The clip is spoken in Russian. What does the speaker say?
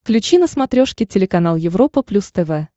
включи на смотрешке телеканал европа плюс тв